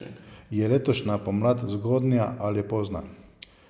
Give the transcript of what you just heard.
Je letošnja pomlad zgodnja ali pozna?